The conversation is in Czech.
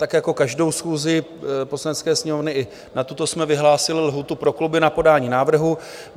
Tak jako každou schůzi Poslanecké sněmovny, i na tuto jsme vyhlásili lhůtu pro kluby na podání návrhu.